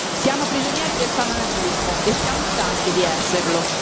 Siamo prigionieri del fanatismo e siamo stanchi di esserlo.